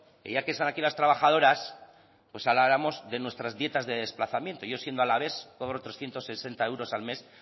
que ya que están aquí las trabajadoras pues habláramos de nuestras dietas de desplazamiento yo siendo alavés cobro trescientos sesenta al mes